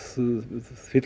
fyllir